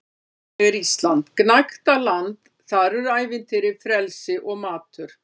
Þannig er Ísland gnægtaland- þar eru ævintýri, frelsi og matur.